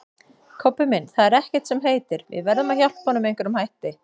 Kobbi minn, það er ekkert sem heitir, við verðum að hjálpa honum með einhverjum hætti